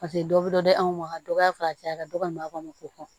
Paseke dɔ bɛ dɔ di anw ma ka dɔ y'a caya ka dɔgɔ ko